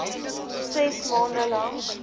ses maande lank